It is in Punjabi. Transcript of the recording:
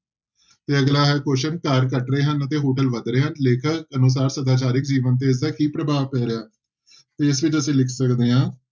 ਤੇ ਅਗਲਾ ਹੈ question ਘਰ ਘਟ ਰਹੇ ਹਨ ਤੇ hotel ਵੱਧ ਰਹੇ ਹਨ ਲੇਖਕ ਅਨੁਸਾਰ ਸਦਾਚਾਰਕ ਜੀਵਨ ਤੇ ਇਸਦਾ ਕੀ ਪ੍ਰਭਾਵ ਪੈ ਰਿਹਾ, ਤੇ ਇਸ ਵਿੱਚ ਅਸੀਂ ਲਿਖ ਸਕਦੇ ਹਾਂ